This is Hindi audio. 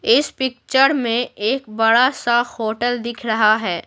इस पिक्चर में एक बड़ा सा होटल दिख रहा है।